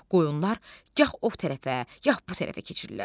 Qoyunlar gah o tərəfə, gah bu tərəfə keçirlər.